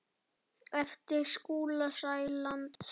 eftir Skúla Sæland.